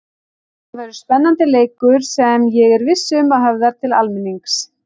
Þetta verður spennandi leikur sem ég er viss um að höfðar til almennings.